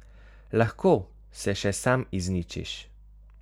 Lahko se še sam izničiš.